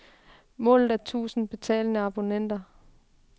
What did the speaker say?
Målet er et tusind betalende abonnenter.